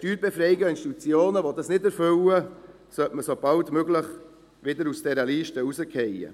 Steuerbefreiungen an Institutionen, die dies nicht erfüllen, sollte man so bald wie möglich wieder aus dieser Liste entfernen.